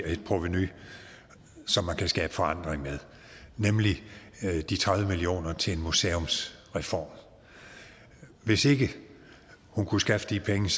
et provenu som man kan skabe forandring med nemlig de tredive million kroner til en museumsreform hvis ikke hun kunne skaffe de penge